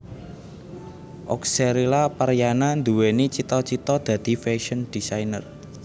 Oxcerila Paryana nduwèni cita cita dadi fashion designer